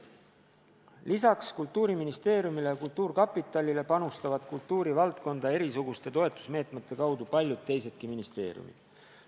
Lisaks Kultuuriministeeriumile ja kultuurkapitalile panustavad kultuurivaldkonda erisuguste toetusmeetmete kaudu paljud teisedki ministeeriumid.